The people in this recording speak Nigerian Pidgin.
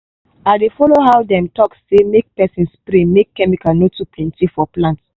i dey follow how dem talk say make person spray make chemical no go too plenty for plant.